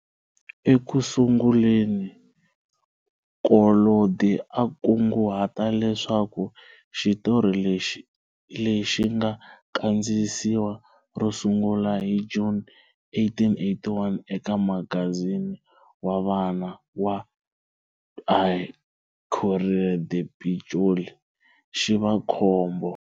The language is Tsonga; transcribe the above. Eku sunguleni Collodi a kunguhate leswaku xitori lexi, lexi nga kandziyisiwa ro sungula hi June 1881 eka magazini wa vana wa"Il Corriere dei Piccoli", xi va khombo.